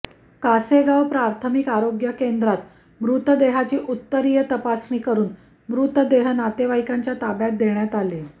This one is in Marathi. कासेगाव प्राथमिक आरोग्य केंद्रात मृर्तदेहाची उत्तरीय तपासणी करून मृतदेह नातेवाईकांच्या ताब्यात देण्यात आले